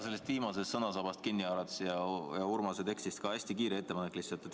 Sellest viimasest sõnasabast ja ka Urmase öeldust kinni haarates on mul hästi kiire ettepanek.